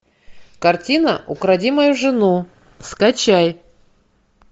картина укради мою жену скачай